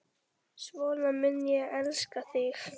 Svona mun ég elska þig.